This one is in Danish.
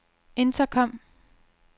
intercom